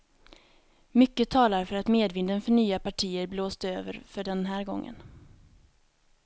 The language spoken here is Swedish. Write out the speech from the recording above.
Mycket talar för att medvinden för nya partier blåst över för den här gången.